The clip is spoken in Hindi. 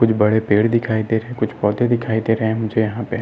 कुछ बड़े पेड़ दिखाई दे रहे है कुछ पोधे दिखाई दे रहे है मुझे यहाँ पे --